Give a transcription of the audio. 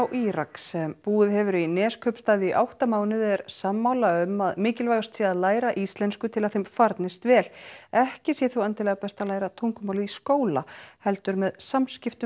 Írak sem búið hefur í Neskaupstað í átta mánuði er sammála um að mikilvægast sé að læra íslensku til að þeim farnist vel ekki sé þó endilega best að læra tungumálið í skóla heldur með samskiptum